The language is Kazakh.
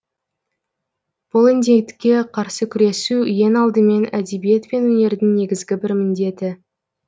бұл індетке қарсы күресу ең алдымен әдебиет пен өнердің негізгі бір міндеті